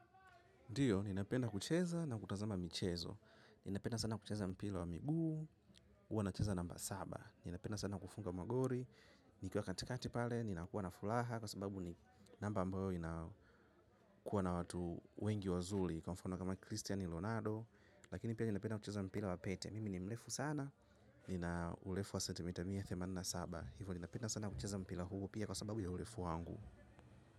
Ndiyo, ninapenda kucheza na kutazama michezo. Ninapenda sana kucheza mpira wa miguu, huwa nacheza namba saba. Ninapenda sana kufunga magori, nikiwa katikati pale, ninakuwa na fulaha kwa sababu ni namba ambayo inakuwa na watu wengi wazuli, kwa mfano kama Christian Ronado, lakini pia ninapenda kucheza mpira wa pete. Mimi ni mlefu sana, nina urefu wa centimetre mia themanini na saba kwa ivo ninapenda sana kucheza mpila huu pia kwa sababu ya ulefu wangu.